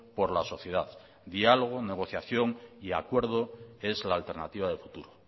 por la sociedad diálogo negociación y acuerdo es la alternativa de futuro